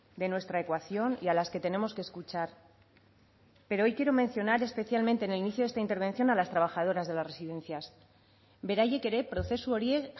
de nuestra ecuación y a las que tenemos que escuchar pero hoy quiero mencionar especialmente en el inicio de esta intervención a las trabajadoras de las residencias beraiek ere prozesu horiek